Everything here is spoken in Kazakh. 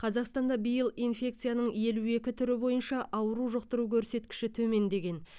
қазақстанда биыл инфекцияның елу екі түрі бойынша ауру жұқтыру көрсеткіші төмендеген